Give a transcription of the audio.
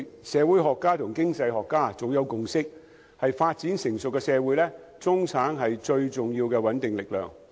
社會學家和經濟學家早有共識，要發展成熟的社會，中產是最重要的穩定力量。